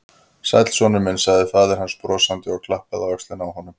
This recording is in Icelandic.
Sæll, sonur minn sagði faðir hans brosandi og klappaði á öxlina á honum.